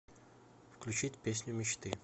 включить песню мечты